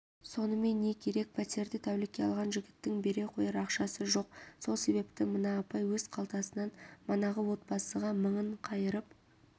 сонымен не керек пәтерді тәулікке алған жігіттің бере қояр ақшасы жоқ сол себепті мына апай өз қалтасынан манағы отбасыға мыңын қайырып